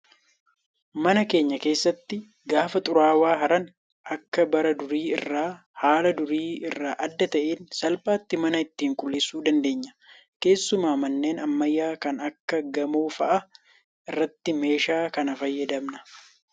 Mana keenya keessatti gaafa xuraawaa haran akka bara durii irraa haala durii irra adda ta'een salphaatti mana ittiin qulqulleessuu dandeenya. Keessumaa manneen ammayyaa kan akka gamoo fa'aa irratti meeshaa kana fayyadamna.